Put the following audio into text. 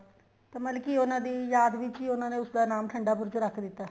ਤਾਂ ਮਤਲਬ ਕੀ ਉਹਨਾ ਦੀ ਯਾਦ ਵਿੱਚ ਹੀ ਉਹਨਾ ਨੇ ਉਸ ਨਾਮ ਠੰਡਾ ਬੁਰਜ ਰੱਖ ਦਿੱਤਾ